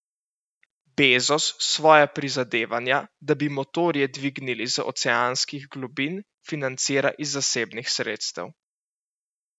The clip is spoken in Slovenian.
Bezos svoja prizadevanja, da bi motorje dvignili iz oceanskih globin, financira iz zasebnih sredstev.